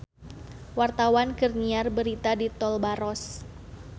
Wartawan keur nyiar berita di Tol Baros